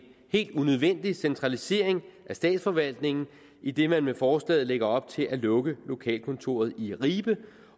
helt unødvendig centralisering af statsforvaltningen idet man med forslaget lægger op til at lukke lokalkontoret i ribe